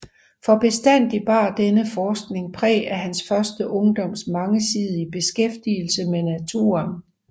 For bestandig bar denne forskning præg af hans første ungdoms mangesidige beskæftigelse med naturen